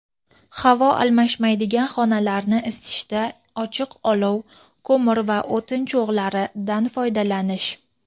havo almashmaydigan xonalarni isitishda ochiq olov (ko‘mir va o‘tin cho‘g‘lari)dan foydalanish;.